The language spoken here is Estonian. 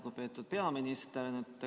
Lugupeetud peaminister!